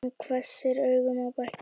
Hann hvessir augun á bekkinn.